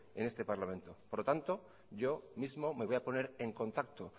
en este parlamento por lo tanto yo mismo me voy a poner en contacto